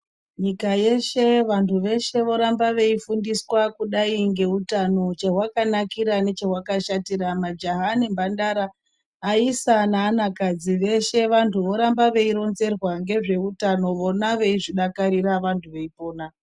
Nyika yeshe vantu veshe voramba veifundiswa kudai ngeutano chahwakanakira nechahwakashatira majaha nempantara aisa naana kadzi veshe vantu voramba veironzerwa ngezveutano vona veizvidakarira vantu veipona.